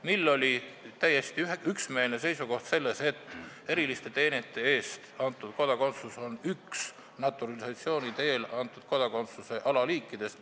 Sel ajal oli täiesti üksmeelne seisukoht selline, et eriliste teenete eest antud kodakondsus on üks naturalisatsiooni teel antud kodakondsuse alaliikidest.